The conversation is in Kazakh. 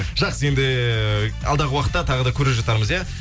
жақсы енді алдағы уақытта тағы да көре жатармыз ия